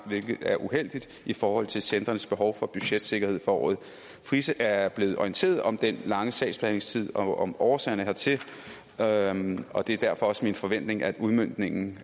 hvilket er uheldigt i forhold til centrenes behov for budgetsikkerhed for året frise er blevet orienteret om den lange sagsbehandlingstid og om årsagerne hertil og og det er derfor også min forventning at udmøntningen